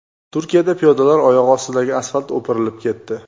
Turkiyada piyodalar oyog‘i ostidagi asfalt o‘pirilib ketdi .